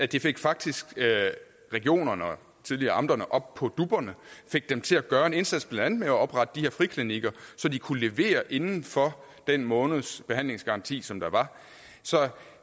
det fik faktisk regionerne tidligere amterne op på dupperne fik dem til at gøre en indsats blandt andet med at oprette de her friklinikker så de kunne levere inden for den måneds behandlingsgaranti som der var så